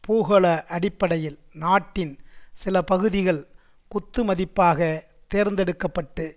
பூகோள அடிப்படையில் நாட்டின் சில பகுதிகள் குத்துமதிப்பாக தேர்ந்தெடுக்க பட்டு